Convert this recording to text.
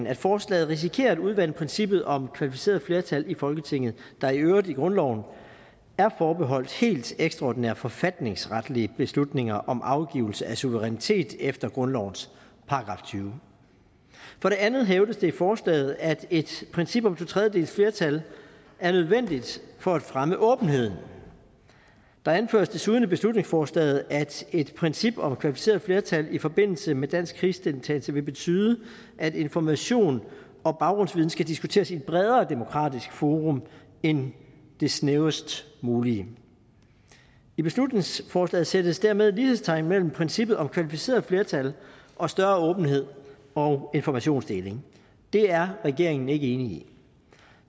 at forslaget risikerer at udvande princippet om kvalificeret flertal i folketinget der i øvrigt i grundloven er forbeholdt helt ekstraordinære forfatningsretlige beslutninger om afgivelse af suverænitet efter grundlovens § tyvende for det andet hævdes det i forslaget at et princip om to tredjedeles flertal er nødvendigt for at fremme åbenheden der anføres desuden i beslutningsforslaget at et princip om kvalificeret flertal i forbindelse med dansk krigsdeltagelse vil betyde at information og baggrundsviden skal diskuteres i et bredere demokratisk forum end det snævrest mulige i beslutningsforslaget sættes dermed lighedstegn mellem princippet om kvalificeret flertal og større åbenhed og informationsdeling det er regeringen ikke enig i